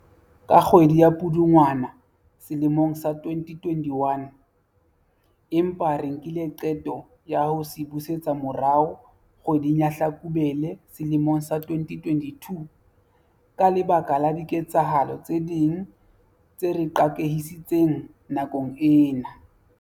ka kgwedi ya Pudungwana selemong sa 2021, empa re nkile qeto ya ho se busetsa morao kgwe ding ya Hlakubele sele mong sa 2022 ka lebaka la diketsahalo tse ding tse re qakehisitseng nakong ena.